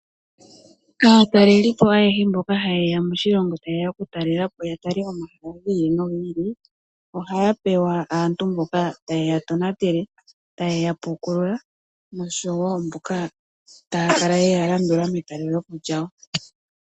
Aatalelipo ayehe mboka haye ya moshilongo taye ya okutalela po ya tale omahala gi ili nogi ili, ohaya pewa aantu mboka taye ya tonatele, taye ya pukulula, nosho wo mboka taya kala ye ya landula metalelopo lyawo.